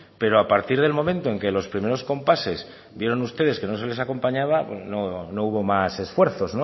pero a partir del momento en que los primero compases vieron ustedes que no se les acompañaba pues no hubo más esfuerzos